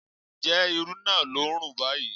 Ǹjẹ́ irú naa ló ń rùn báyìí?